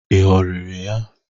Ị ghọrịrị ya?